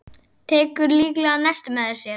Tekur líklega nesti með sér.